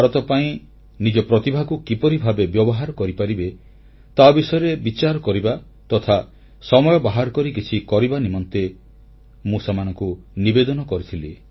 ଭାରତ ପାଇଁ ନିଜ ପ୍ରତିଭାକୁ କିପରି ଭାବେ ବ୍ୟବହାର କରିପାରିବେ ତା ବିଷୟରେ ବିଚାର କରିବା ତଥା ସମୟ ବାହାର କରି କିଛି କରିବା ନିମନ୍ତେ ମୁଁ ସେମାନଙ୍କୁ ନିବେଦନ କରୁଥିଲି